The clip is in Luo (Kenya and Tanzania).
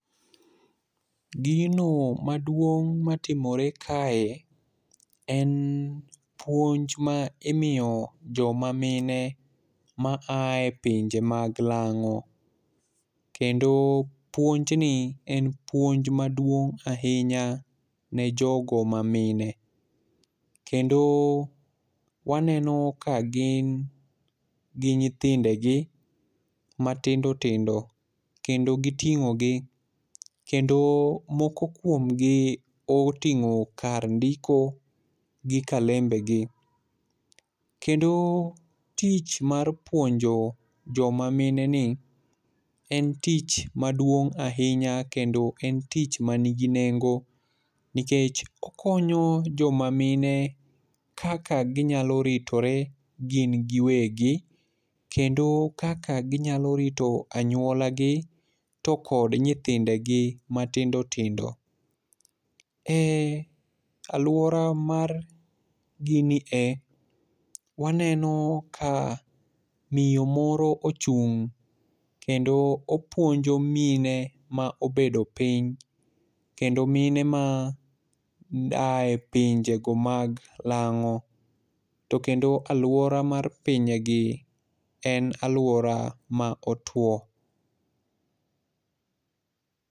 Gino maduong' matimore kae en puonj ma imiyo jomamine ma ae pinje mag lang'o. Kendo puonj ni en puonj maduong' ahinya ne jogo mamine. Kendo waneno ka gin gi nyithindegi matindo tindo. Kendo giting'o gi, kendo moko kuomgi oting'o kar ndiko gi kalembe gi. Kendo tich mar puonjo joma mine ni, en tich maduong' ahinya kendo en tich manigi nengo, nikech okonyo joma mine kaka ginyalo ritore gin giwegi. Kendo kaka ginyalo rito anywola gi, to kod nyithindegi matindo tindo. E alwora mar gini e waneno ka miyo moro ochung' kendo opuonjo mine ma obedo piny, kendo mine ma aye pinje go mag lang'o. To kendo alwora mag pinje gi en alwora ma otwo.